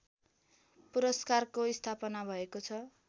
पुरस्कारको स्थापना भएको छ